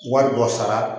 Wari dɔ sara